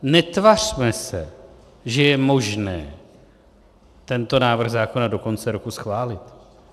Netvařme se, že je možné tento návrh zákona do konce roku schválit.